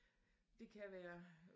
Det kan være